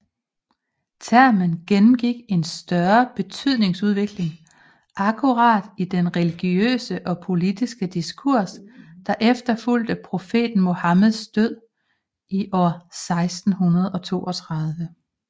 Termen gennemgik en større betydningsudvikling akkurat i den religiøse og politiske diskurs der efterfulgte profeten Muhammeds død i år 632